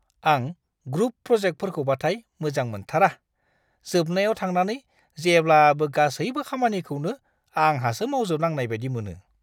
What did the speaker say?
आं ग्रुप प्रजेकटफोरखौबाथाय मोजां मोनथारा; जोबनायाव थांनानै जेब्लाबो गासैबो खामानिखौनो आंहासो मावजोबनांनाय बायदि मोनो!